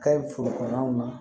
Ka ɲi foro kɔnɔnaw na